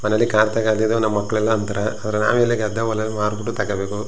ಮನೇಲಿ ಕಾರು ತಗೋಳಿ ಅಂತ ನಮ್ಮ ಮಕ್ಕಳೆಲ್ಲ ಅಂತಾರೆ ಆದರೆ ನಾವಿಲ್ಲಿ ಗದ್ದೆ ಹೊಲ ಮಾರ್ ಬಿಟ್ಟು ತಗೋಬೇಕು.